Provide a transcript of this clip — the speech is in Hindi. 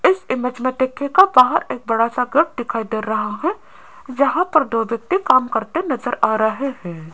इस इमेज में देखियेगा बाहर एक बाहर एक बड़ा सा घर दिखाई दे रहा है जहां पर दो व्यक्ति काम करते नजर आ रहे हैं।